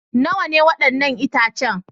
Nawa ne waɗannan itacen?